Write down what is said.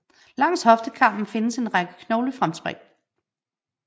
Langs hoftekammen findes en række knoglefremspring